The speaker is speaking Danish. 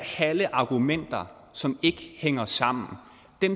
halve argumenter som ikke hænger sammen